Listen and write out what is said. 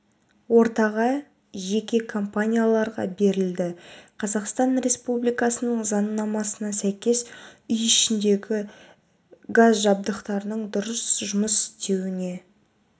ортаға жеке компанияларға берілді қазақстан республикасының заңнамасына сәйкес үй ішіндегі газ жабдықтарының дұрыс жұмыс істеуіне